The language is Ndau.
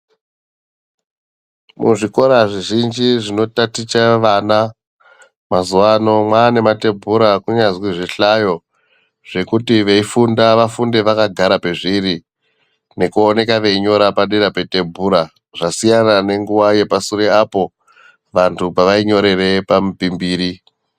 Muzvikora zvizhinji zvinotaticha vana mazuwa ano mwaane matebhura kunyazwi zvihlayo zvekuti veifunda ,vafunde vakagara pezviri nekuoneka veinyora padera petebhura, zvasiyana nenguva yepasure apo vantu pavainyorere pamupimbiri.